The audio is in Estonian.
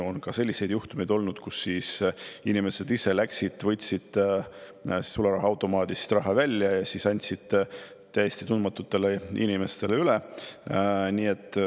On selliseid juhtumeid olnud, kus inimesed ise läksid, võtsid sularahaautomaadist raha välja ja andsid täiesti tundmatule inimesele üle.